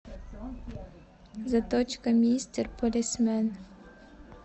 заточка мистер полисмен